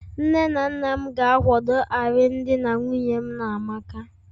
Nne na nna m ga-akwado alụmdi na nwunye mụ na amaka